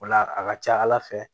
O la a ka ca ala fɛ